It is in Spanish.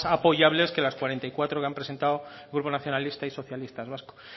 apoyables que las cuarenta y cuatro que han presentado grupos nacionalista y socialistas vascos